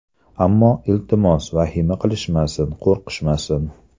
Ammo, iltimos vahima qilishmasin, qo‘rqishmasin.